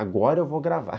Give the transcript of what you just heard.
Agora eu vou gravar.